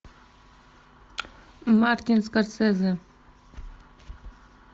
мартин скорсезе